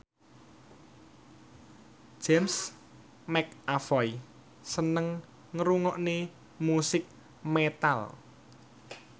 James McAvoy seneng ngrungokne musik metal